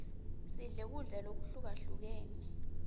sidle kudla lokuhlukahlukene